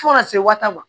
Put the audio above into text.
Fo ka se waati ma